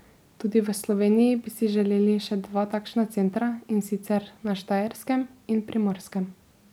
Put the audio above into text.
Tudi v Sloveniji bi si želeli še dva takšna centra, in sicer na Štajerskem in Primorskem.